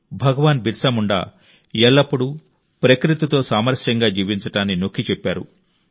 భగవాన్ బిర్సా ముండా ఎల్లప్పుడూ ప్రకృతితో సామరస్యంగా జీవించడాన్ని నొక్కి చెప్పారు